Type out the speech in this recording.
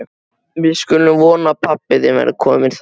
Við skulum vona að pabbi þinn verði kominn þá.